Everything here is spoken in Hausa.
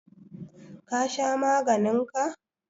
ka Sha maganin ka?